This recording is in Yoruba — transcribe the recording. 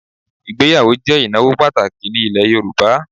Ìgbéyàwó jẹ́ ìnáwó pàtàkì ní ilẹ̀ Yorùbá